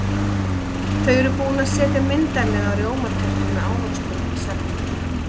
Þau eru búin að setja myndarlega rjómatertu með ávöxtum í safnið.